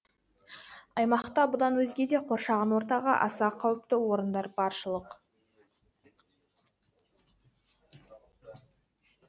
аймақта бұдан өзге де қоршаған ортаға аса қауіпті орындар баршылық